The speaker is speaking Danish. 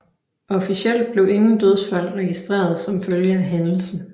Officielt blev ingen dødsfald registreret som følge af hændelsen